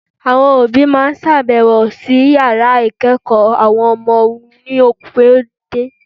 Àwọn òbí máa sábẹ̀wò sí yàrá ìkẹ́ẹ̀kọ̀ àwọn ọmọ wọn ní opun dé.